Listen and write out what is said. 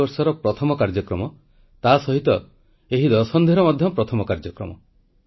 • ଶରଣାର୍ଥୀ ଜୀବନଯାପନ କରୁଥିବା ବ୍ରୁ ରିୟାଙ୍ଗ ଜନଜାତିଙ୍କ ଥଇଥାନ ପାଇଁ ସ୍ୱାକ୍ଷରିତ ରାଜିନାମା ବିଷୟରେ ଉଲ୍ଲେଖ କଲେ ପ୍ରଧାନମନ୍ତ୍ରୀ